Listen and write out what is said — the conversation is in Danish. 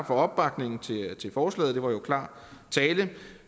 for opbakningen til forslaget det var jo klar tale jeg